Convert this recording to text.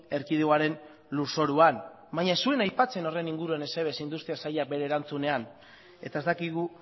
erkidegoaren lurzoruan baina ez zuen aipatzen horren inguruan ezer ez industria sailak bere erantzunean eta ez dakigu